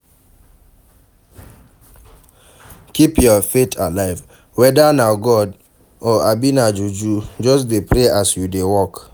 Keep your faith alive, weda na God o abi na juju just dey pray as you dey work